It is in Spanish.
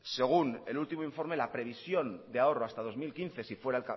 según el último informe la previsión de ahorro hasta el dos mil quince si fuera